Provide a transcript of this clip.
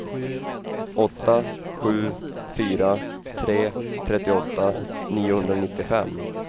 åtta sju fyra tre trettioåtta niohundranittiofem